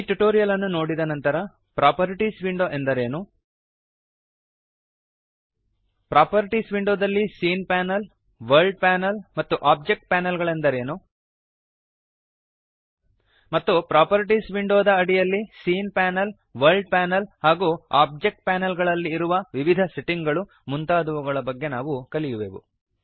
ಈ ಟ್ಯುಟೋರಿಯಲ್ ಅನ್ನು ನೋಡಿದ ನಂತರ ಪ್ರಾಪರ್ಟೀಸ್ ವಿಂಡೋ ಎಂದರೇನು ಪ್ರಾಪರ್ಟೀಸ್ ವಿಂಡೋದಲ್ಲಿ ಸೀನ್ ಪ್ಯಾನಲ್ ವರ್ಲ್ಡ್ ಪ್ಯಾನಲ್ ಮತ್ತು ಓಬ್ಜೆಕ್ಟ್ ಪ್ಯಾನಲ್ ಗಳೆಂದರೇನು160 ಮತ್ತು ಪ್ರಾಪರ್ಟೀಸ್ ವಿಂಡೋದ ಅಡಿಯಲ್ಲಿ ಸೀನ್ ಪ್ಯಾನಲ್ ವರ್ಲ್ಡ್ ಪ್ಯಾನಲ್ ಹಾಗೂ ಓಬ್ಜೆಕ್ಟ್ ಪ್ಯಾನಲ್ ಗಳಲ್ಲಿ ಇರುವ ವಿವಿಧ ಸೆಟ್ಟಿಂಗ್ ಗಳು ಮುಂತಾದವುಗಳ ಬಗೆಗೆ ನಾವು ಕಲಿಯುವೆವು